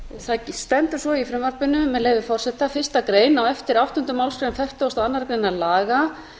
það stendur svo í frumvarpinu með leyfi forseta fyrsta grein á eftir níundu málsgrein fertugustu og annarrar greinar laga